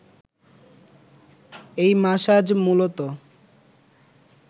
এই মাসাজ মূলত